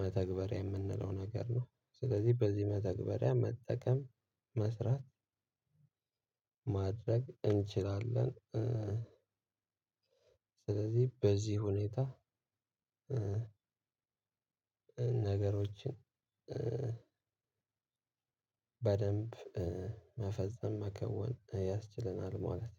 መተግበሪያ የምንለው ነገር ነው። ስለዚህ በዚህ መተግበሪያ መጠቀም መስራት ማድረግ እንችላለን። ስለዚህ በዚህ ሁኔታ ነገሮችን በደንብ መፈጸም መከወን ያስችለናል ማለት